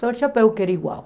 Só o chapéu que era igual.